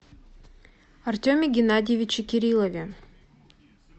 артеме геннадьевиче кириллове